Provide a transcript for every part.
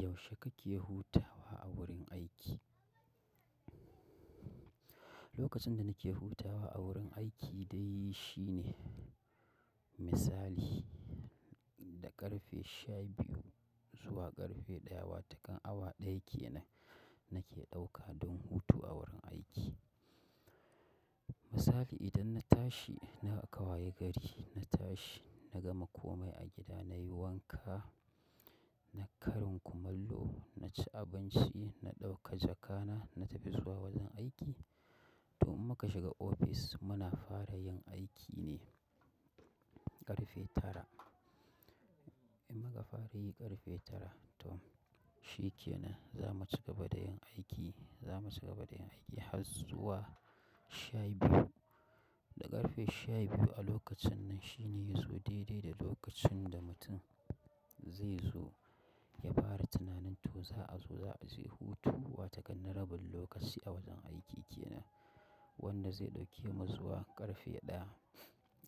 Yaushe kake hutawa a wurin aiki? Lokacin da nake hutawa a wurin aiki dai shine misali da ƙarfe sha biyu zuwa ƙarfe ɗaya wato kan awa ɗaya kenan, nake ɗauka don hutu a wurin aiki. Misali idan na tashi, na kawayi gari, na tashi, na gama komai a gida, na yi wanka, na karin kumallo, na ci abinci, na ɗauka jakana, na tafi zuwa wajen aiki. To in muka shiga ofis muna fara yin aiki ne ƙarfe tara. In muka fara yi ƙarfe tara ton shi kenan za mu cigaba da yin aiki, za mu cigaba da yin aiki har zuwa sha biyu. Da ƙarfe sha biyu a lokacin nan shine yazo daidai da lokacin da mutum zai zo ya fara tunanin to za a zo za a je hutu watakan na rabin lokaci a wajen aiki kenan wanda zai ɗauke mu zuwa ƙarfe ɗaya.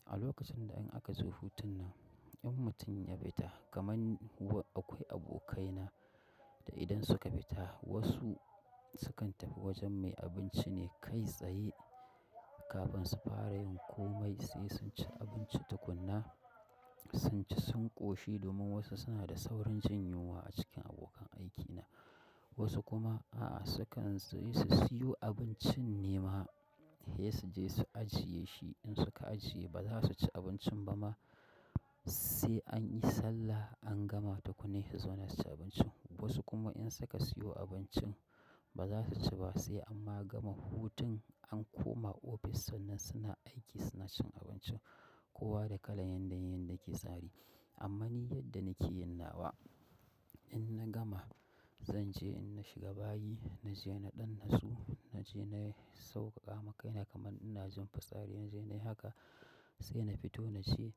A lokacin da in akazo hutun nan in mutum ya fita kaman, akwai abokai na da idan suka fita wasu sukan tafi wajen mai abinci ne kai tsaye kafin su fara yin komai sai sun ci abinci tukuna, sun ci sun ƙoshi domin wasu suna da saurin jinyunwa a cikin abokan aikina. Wasu kuma a'a sukan sayi, su sayo abincin ne ma he suje su ajiye shi in suka ajiye bazasuci abincin bama sai anyi sallah an gama tukunna he su zauna suci abincin. Wasu kuma in suka siyo abincin ba za su ci ba sai amma gama hutun an koma ofis sannan suna aiki suna cin abincin kowa da kalan yadda yanayi yake tsari. Amma ni yadda nake yin nawa in na gama zan je in na shiga bayi na je na ɗan natsu, na je na sauƙaƙama kaina kaman ina jin fitsari inna je na yi haka sai na fito na je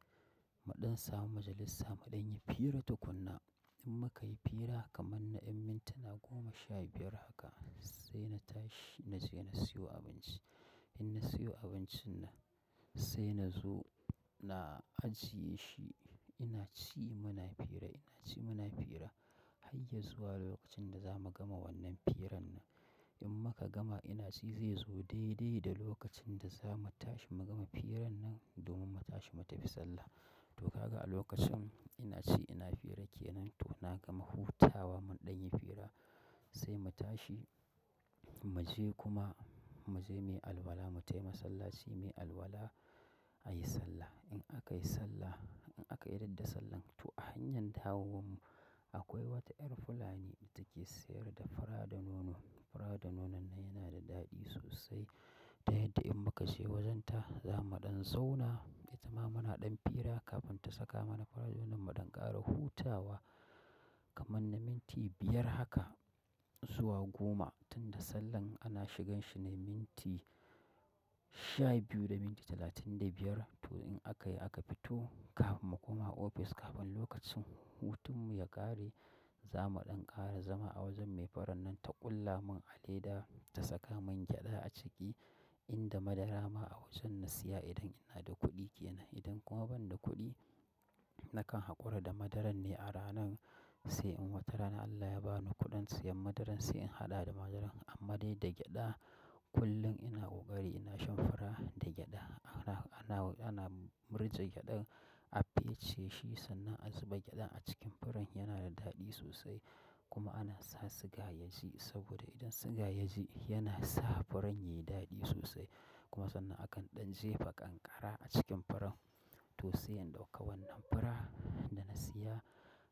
mu ɗan samu majalisa mu ɗan yi fira tukunna. In mukayi fira kaman na yan mintina goma sha biyar haka sai na tashi naje na sayo abinci. In na siyo abincin nan sai na zo na ajiye shi ina ci muna fira, ina ci muna fira har ya zuwa lokacin da za mu gama wannan firan nan. In muka gama ina ci zai zo daidai da lokacin da za mu tashi mu gama firan nan domin mu tashi mu tafi sallah. To kaga a lokacin ina ci ina fira kenan to na gama hutawa mun ɗan yi fira sai mu tashi mu je kuma mu je miyi alwala mu tai masallaci miyi alwala a yi sallah. In aka yi sallah in aka idarda sallan to a hanyam dawowanmu akwai wata 'yar Fulani da take sayar da fura da nono. Fura da nonon nan yana da daɗi sosai. Ta yadda in muka je wajen ta za mu ɗan zauna itama muna ɗan fira kafin ta saka mana fura da nonon mu ɗan ƙara hutawa kaman na minti biyar haka zuwa goma tunda sallan ana shigan shi ne minti sha biyu da minti talatin da biyar. To in aka yi aka fito kafin mu koma ofis kafin lokacin hutun mu ya ƙare za mu ɗan ƙara zama a wajen mai furan nan ta ƙulla mun aleda ta saka mun gyaɗa a ciki inda madara ma a wajen na siya idan ina da kuɗi kenan. Idan kuma ban da kuɗi nakan haƙura da madaran ne a ranan sai in wata rana Allah ya bani kuɗin siyan madaran sai in haɗa da madaran. Amma dai da gyaɗa kullum ina ƙoƙari ina shan fura da gyaɗa. Ana, ana, ana murje gyaɗan a fece shi sannan a zuba gyaɗan a cikin furan yana da daɗi sosai kuma ana sa siga yaji saboda idan siga yaji yana sa furan yayi daɗi sosai kuma sannan akan ɗan jefa kankara a cikin furan. To sai in ɗauka wannan fura da na siya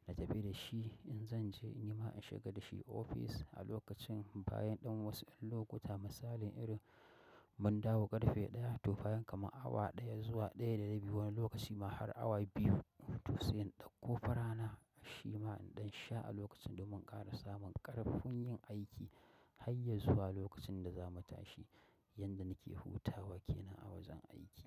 na tafi da shi in zan je in yi ma in shiga da shi ofis a lokacin bayan ɗan wasu ƴan lokuta misalin irin mun dawo ƙarfe ɗaya to bayan kama awa ɗaya zuwa ɗaya da rabi wani lokaci ma har awa biyu. To sai in ɗauko furana shi ma in ɗan sha a lokacin domin in ƙara samun ƙarfin yin aiki hayya zuwa lokacin da za mu tashi. Yanda nake hutawa kenan a wajen aiki.